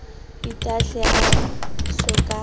itahle a so ka a